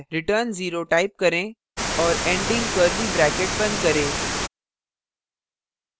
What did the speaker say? return 0 type करें; और ending curly bracket बंद करें